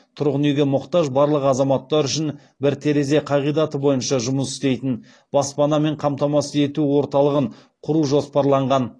тұрғын үйге мұқтаж барлық азаматтар үшін бір терезе қағидаты бойынша жұмыс істейтін баспанамен қамтамасыз ету орталығын құру жоспарланған